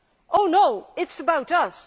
Oh no, it is about us!